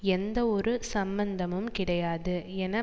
எந்தவொரு சம்பந்தமும் கிடையாது என